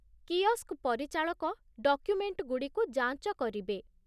kiosk ପରିଚାଳକ ଡକ୍ୟୁମେଣ୍ଟଗୁଡ଼ିକୁ ଯାଞ୍ଚ କରିବେ